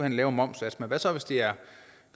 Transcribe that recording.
en lavere momssats men hvad så hvis det er